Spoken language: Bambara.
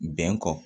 Bɛn kɔ